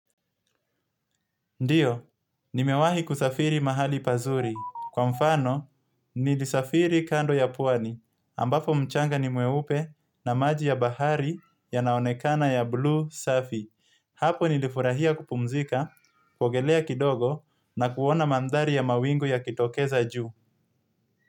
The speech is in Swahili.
Ndiyo, nimewahi kusafiri mahali pazuri. Kwa mfano, nilisafiri kando ya puani, ambapo mchanga ni mueupe na maji ya bahari ya naonekana ya blue safi. Hapo nilifurahia kupumzika, kuogelea kidogo na kuona mandari ya mawingu ya kitokeza juu.